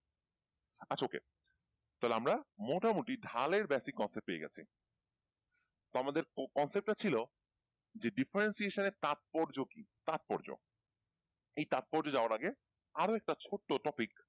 আচ্ছা OK তাহলে আমরা মোটামুটি ঢালের basic concept পেয়ে গেছি তো আমাদের concept টা ছিল যে differentiation এর তাৎপর্য কি? তাৎপর্য এই তাৎপর্যে যাওয়ার আগে আরও একটা ছোট্ট topic